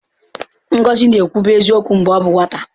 Ngọzi na-ekwubu eziokwu mgbe ọ bụ nwata.